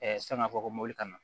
san k'a fɔ ko mobili kana